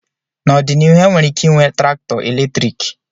N'ọdịnihu enwere ike ịnwe traktọ eletriki.